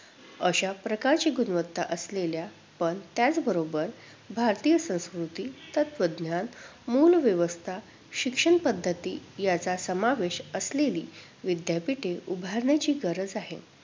अशाप्रकारची गुणवत्ता असलेल्या पण त्याचबरोबर भारतीय संस्कृती, तत्त्वज्ञान, मूलव्यवस्था, शिक्षणपद्धती यांचा समावेश असलेली विद्यापीठे उभारण्याची गरज आहे.